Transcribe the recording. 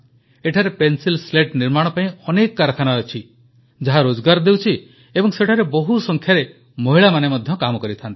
ଏଠାରେ pencil slate ନିର୍ମାଣ ପାଇଁ ଅନେକ କାରଖାନା ଅଛି ଯାହା ରୋଜଗାର ଦେଉଛି ଏବଂ ସେଠାରେ ବହୁତ ସଂଖ୍ୟାରେ ମହିଳାମାନେ କାମ କରନ୍ତି